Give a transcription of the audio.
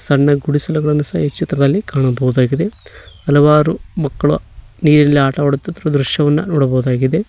ಸಣ್ಣ ಗುಡಿಸಲುಗಳನ್ನು ಸಹ ಈ ಚಿತ್ರದಲ್ಲಿ ಕಾಣಬಹುದಾಗಿದೆ ಹಲವಾರು ಮಕ್ಕಳು ನೀರಿನಲ್ಲಿ ಆಟವಾಡುತ್ತಿರುವ ದೃಶ್ಯವನ್ನು ನೋಡಬಹುದಾಗಿದೆ.